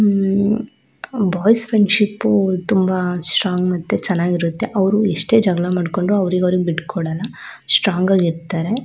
ಉಮ್ಮ್ boys friendship ತುಂಬ strong ಮತ್ತು ತುಂಬ ಚೆನ್ನಾಗಿರುತ್ತೆ ಮತ್ತೆ ಎಷ್ಟೇ ಜಗಳ ಮಾಡ್ಕೊಂಡ್ರು ಅವ್ರಿಗ್ ಅವ್ರಿಗ್ ಬಿಟ್ಕೊಡಲ್ಲ ಸ್ಟ್ರಾಂಗ್ ಆಗಿ ಇರ್ತರೆ.